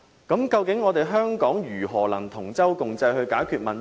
究竟香港如何能夠同舟共濟地解決問題？